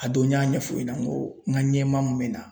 A don n y'a ɲɛfɔ ɲɛna n ko n ka ɲɛmaa min be na